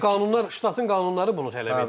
Özü də qanunlar, ştatın qanunları bunu tələb edir.